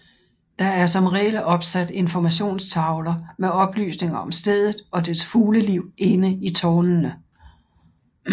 Der er som regel opsat informationstavler med oplysninger om stedet og dets fugleliv inde i tårnene